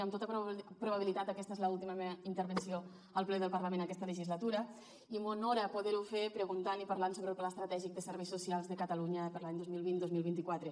amb tota probabilitat aquesta és l’última meva intervenció al ple del parlament aquesta legislatura i m’honora poder ho fer preguntant i parlant sobre el pla estratègic de serveis socials de catalunya per a l’any dos mil vint dos mil vint quatre